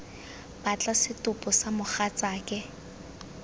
batla setopo sa ga mogatsaake